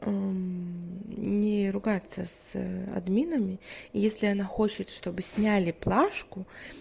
не ругаться с админами если она хочет чтобы сняли плашку